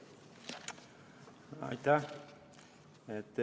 Aitäh!